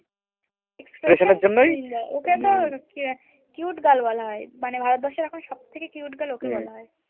cute girl বলা হয়, মানে ভারতবর্ষের এখন সবথেকে cute girl ওকে বলা হয়